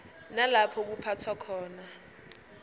nalapho kuphathwa khona